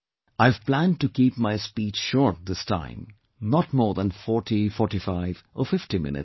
I have planned to keep my speech short this time not more than 404550 minutes